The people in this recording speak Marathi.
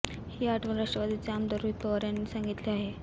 ही आठवण राष्ट्रवादीचे आमदार रोहित पवार यांनी सांगितली आहे